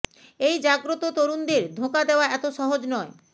এই জাগ্রত তরুণদের ধোঁকা দেওয়া এত সহজ নয়